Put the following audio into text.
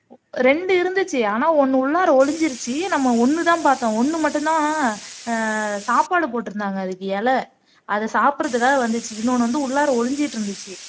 இரண்டு இருந்துச்சு ஆனா ஒண்ணு உள்ளாற ஒழிஞ்சிருச்சு நம்ம ஒண்ணுதான் பார்த்தோம் ஒண்ணு மட்டும்தான் ஆஹ் சாப்பாடு போட்டிருந்தாங்க அதுக்கு இலை அத சாப்பிடறதுக்காக வந்துச்சு இன்னொன்னு வந்து உள்ளாற ஒளிஞ்சிட்டு இருந்துச்சு